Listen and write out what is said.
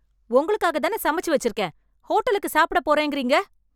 உங்களுக்காகதான சமைச்சு வெச்சிருக்கேன்... ஹோட்டலுக்கு சாப்பிட போறேன்ங்கறீங்க...